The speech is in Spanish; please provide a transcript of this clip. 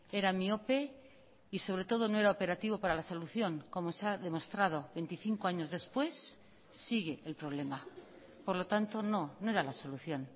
era miope y sobre todo no era operativo para la solución como se ha demostrado veinticinco años después sigue el problema por lo tanto no no era la solución